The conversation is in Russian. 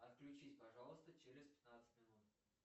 отключись пожалуйста через пятнадцать минут